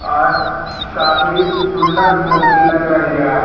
और काफी सुंदर मूर्ति लग रही है।